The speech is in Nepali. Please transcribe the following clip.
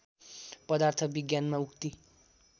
पदार्थ विज्ञानमा उक्ति